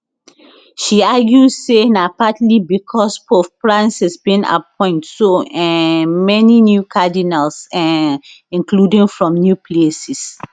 she argue say na partly becos pope francis bin appoint so um many new cardinals um including from new places